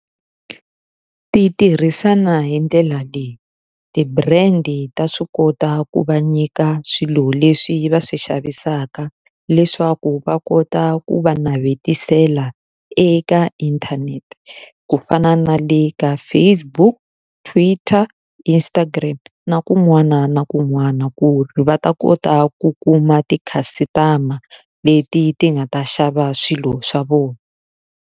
Ti tirhisana hi ndlela leyi, ti-brand-i ta swi kota ku va nyika swilo leswi va swi xavisaka leswaku va kota ku va navetisela eka internet. Ku fana na le ka Facebook, Twitter, Instagram na kun'wana na kun'wana ku ri va ta kota ku kuma ti-customer leti ti nga ta xava swilo swa vona.